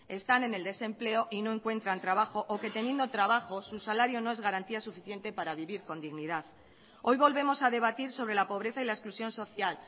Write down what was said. están en el desempleo y no encuentran trabajo o que teniendo trabajo su salario no es garantía suficiente para vivir con dignidad hoy volvemos a debatir sobre la pobreza y la exclusión social